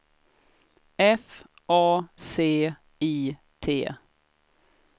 F A C I T